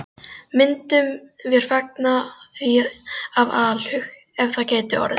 Myndum vér fagna því af alhug, ef það gæti orðið.